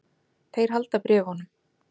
Þeir halda bréfunum.